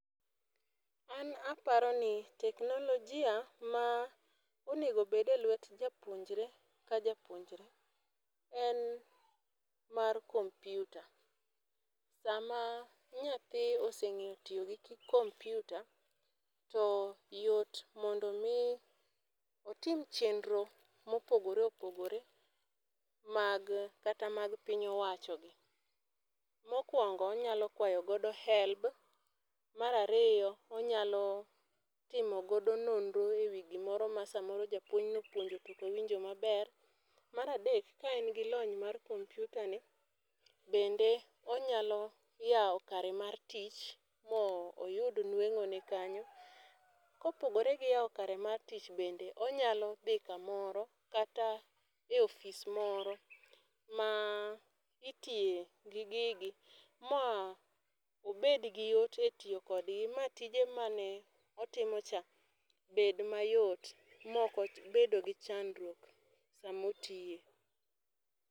An aparo ni teknologia ma onego bed e lwet japuonjre ka japuonjre en mar kompyuta sa ma nyathi oseng'eyo tiyo gi kompyuta to yot mondo mi otim chenro ma opogore opogore mag kata mag piny owacho. Mokuongo onyalo kwayo godo helb, mar ariyo onyalo timo godo nonro e wi gi moro ma sa moro japuonj ne opuonjo to ok owinjo ma ber. Mar adek, ka en gi lony mar lkompyuta ni ,bende onyalo yawo kare mar tich ma oyud nweng'o ne kanyo. Ka opogore gi yawo kare mar tich bende, onyalo dhi ka moro kata e ofis moro ma itiyo gi gigi ma obed gi yot e tiyo kod gi, ma tije ma ne otimo cha bed ma yot ma ok obedo gi chandruok ka ma otiye.